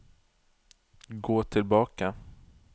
gå tilbake